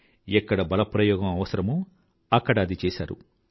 ఎక్కడ బలప్రయోగం అవసరమో అక్కడ అది చేసారు